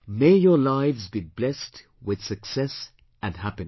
May your lives be blessed with success and happiness